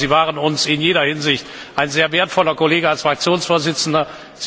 Ich glaube, Sie waren uns in jeder Hinsicht ein sehr wertvoller Kollege als Fraktionsvorsitzender.